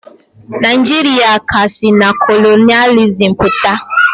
Naijiria ka si na kolonịalizim pụta.